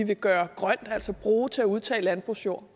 vil gøre grøn altså bruge til at udtage landbrugsjord